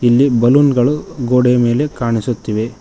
ಇಲ್ಲಿ ಬಲೂನ್ಗಳು ಗೋಡೆಯ ಮೇಲೆ ಕಾಣಿಸುತ್ತಿವೆ.